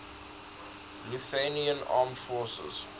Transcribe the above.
lithuanian armed forces